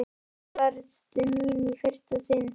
Og þar varðstu mín í fyrsta sinn.